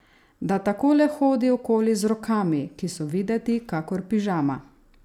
Da takole hodi okoli z rokami, ki so videti kakor pižama?